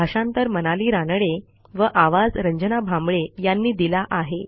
भाषांतर मनाली रानडे व आवाज यांनी दिला आहे